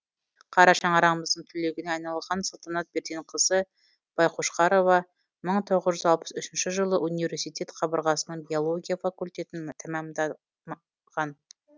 қара шаңырағымыздың түлегіне айналған салтанат берденқызы байқошқарова мың тоғыз жүз алпыс үшінші жылы университет қабырғасының биология факультетін тәмам да ған